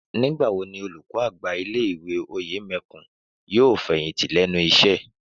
Nígbà wo ni olùkọ́ àgbà ilé ìwé Òyèmẹkùn yóò fẹ̀yìntì lẹ́nu iṣẹ́?